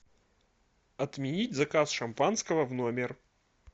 отменить заказ шампанского в номер